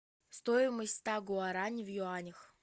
стоимость ста гуарани в юанях